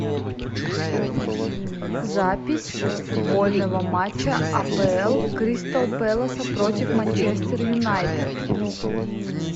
запись футбольного матча апл кристал пэласа против манчестер юнайтед